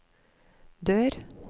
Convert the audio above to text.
dør